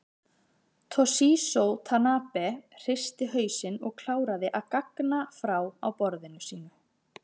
Toshizo Tanabe hristi hausinn og kláraði að gagna frá á borðinu sínu.